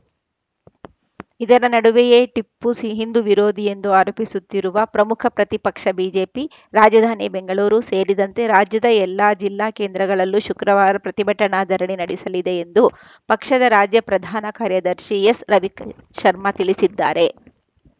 ಇದರ ನಡುವೆಯೇ ಟಿಪ್ಪು ಸಿ ಹಿಂದೂ ವಿರೋಧಿ ಎಂದು ಆರೋಪಿಸುತ್ತಿರುವ ಪ್ರಮುಖ ಪ್ರತಿಪಕ್ಷ ಬಿಜೆಪಿ ರಾಜಧಾನಿ ಬೆಂಗಳೂರು ಸೇರಿದಂತೆ ರಾಜ್ಯದ ಎಲ್ಲ ಜಿಲ್ಲಾ ಕೇಂದ್ರಗಳಲ್ಲೂ ಶುಕ್ರವಾರ ಪ್ರತಿಭಟನಾ ಧರಣಿ ನಡೆಸಲಿದೆ ಎಂದು ಪಕ್ಷದ ರಾಜ್ಯ ಪ್ರಧಾನ ಕಾರ್ಯದರ್ಶಿ ಎಸ್ ರವಿಶರ್ಮಾ ತಿಳಿಸಿದ್ದಾರೆ